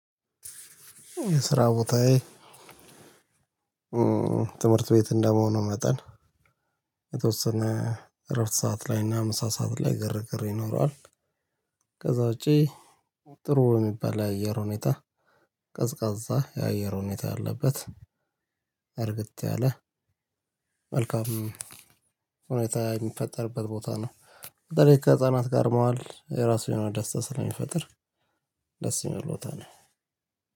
ስራ ቦታዬ ትምህርት ቤት እንደመሆኑ መጠን የተወሰነ እረፍት ሰዓት ላይ እና ምሳ ሰዓት ላይ ግርግር ይኖረዋል። ከዛ ውጪ ጥሩ የሚባል የአየር ሁኔታ ቀዝቃዛ የአየር ሁኔታ ያለበት እርግት ያለ መልካም ሁኔታ የሚፈጠርበት ቦታ ነው። በተለይ ከህፃናት ጋር መዋል የራሱ የሆነ ደስታ ስለሚፈጥር ደስ የሚል ቦታ ነው።